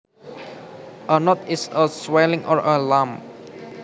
A node is a swelling or a lump